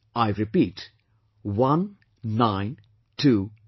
I repeat ...One Nine Two Two